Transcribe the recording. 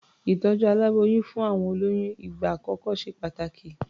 Ìtọ̀jú aláboyún fún àwọn olóyún ìgbà àkọ́kọ́ ṣe pàtàkì.